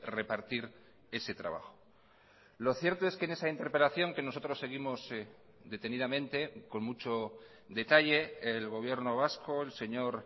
repartir ese trabajo lo cierto es que en esa interpelación que nosotros seguimos detenidamente con mucho detalle el gobierno vasco el señor